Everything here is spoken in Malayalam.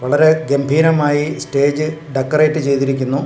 വളരെ ഗംഭീരമായി സ്റ്റേജ് ഡെകറേറ്റ് ചെയ്തിരിക്കുന്നു.